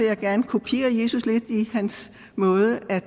jeg gerne kopiere jesus lidt i hans måde at